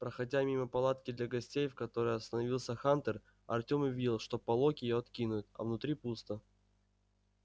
проходя мимо палатки для гостей в которой остановился хантер артём увидел что полог её откинут а внутри пусто